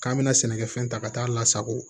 K'an bɛna sɛnɛkɛfɛn ta ka taa lasago